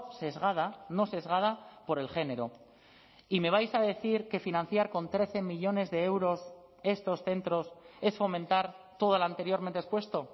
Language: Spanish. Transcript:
sesgada no sesgada por el género y me vais a decir que financiar con trece millónes de euros estos centros es fomentar todo lo anteriormente expuesto